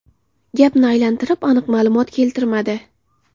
Gapni aylantirib, aniq ma’lumot keltirmadi.